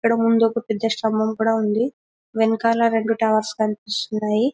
ఇక్కడ ముందు ఒక శ్శతంబమ్ కూడా ఉంది వెనకాల రెండు టవర్స్ కనిపిస్తున్నాయి.